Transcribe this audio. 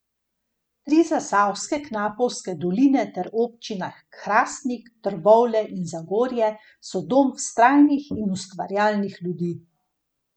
Tri zasavske knapovske doline ter občine Hrastnik, Trbovlje in Zagorje so dom vztrajnih in ustvarjalnih ljudi.